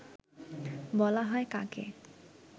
বলা হয় কাকে